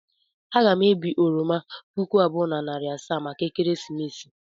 Aga m ebi oroma puku abụọ na narị asaa maka ekeresimesi.